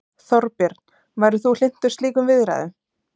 Þorbjörn: Værir þú hlynntur slíkum viðræðum?